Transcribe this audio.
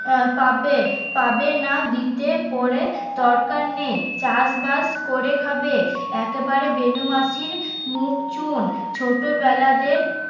পাবে পাবে না দিতে পরে দরকার নেই চাষবাস করে খাবে একেবারে বেণুমাসির মুখ চুন ছোটবেলাদের